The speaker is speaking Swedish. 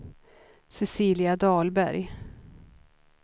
Cecilia Dahlberg